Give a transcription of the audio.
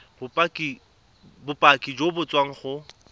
bopaki jo bo tswang go